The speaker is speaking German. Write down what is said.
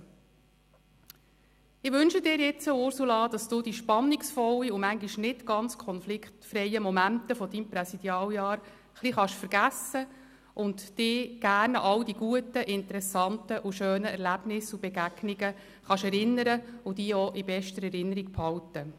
Ich wünsche Ihnen, liebe Ursula Zybach, dass Sie die spannungsvollen und manchmal nicht ganz konfliktfreien Momente Ihres Präsidialjahres ein bisschen vergessen können, auch, dass Sie sich gerne an all die guten, interessanten und schönen Erlebnisse und Begegnungen erinnern können und diese auch in bester Erinnerung behalten.